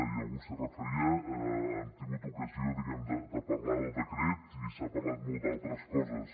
i algú s’hi referia hem tingut ocasió de parlar del decret i s’ha parlat molt d’altres coses